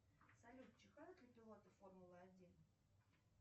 салют чихают ли пилоты формулы один